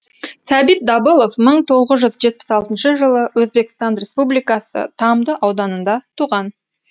сәбит дабылов мың тоғыз жүз жетпіс алтыншы жылы өзбекстан республикасы тамды ауданында туған